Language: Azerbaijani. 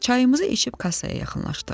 Çayımızı içib kassaya yaxınlaşdıq.